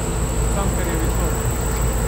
Cankarjevi torki.